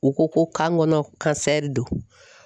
U ko ko kan kɔnɔ kansɛri don